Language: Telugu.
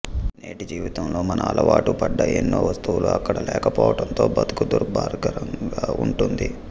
నేటి జీవితంలో మనం అలవాటు పడ్డ ఎన్నో వస్తువులు అక్కడ లేక పోవటంతో బ్రతుకు దుర్భరంగా ఉంటుంది